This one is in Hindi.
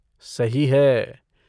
सही है।